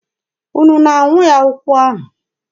Unu na-anyụ ya ụkwụ ahụ?